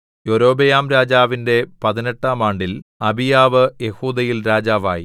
യൊരോബെയാംരാജാവിന്റെ പതിനെട്ടാം ആണ്ടിൽ അബീയാവ് യെഹൂദയിൽ രാജാവായി